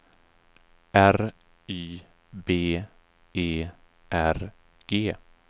R Y B E R G